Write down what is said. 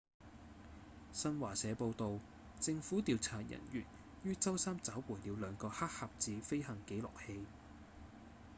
新華社報導政府調查人員於週三找回了兩個「黑盒子」飛行記錄器